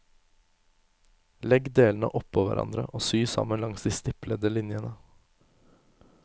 Legg delene oppå hverandre og sy sammen langs de stiplede linjene.